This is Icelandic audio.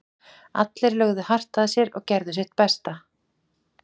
Allir lögðu hart að sér og gerðu sitt besta.